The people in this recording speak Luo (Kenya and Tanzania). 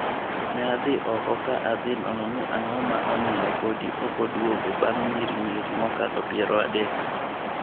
"Ne adhi oko ka adhi nono ni ang'o ma omiyo podi ok oduogo bang' nyirinyiri mokalo piero adek.